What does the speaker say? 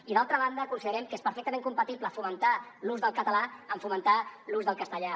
i d’altra banda considerem que és perfectament compatible fomentar l’ús del català amb fomentar l’ús del castellà